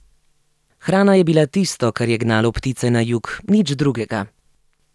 Hrana je bila tisto, kar je gnalo ptice na jug, nič drugega.